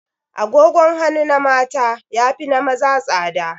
Agogon hanu na mata ya fi na maza tsada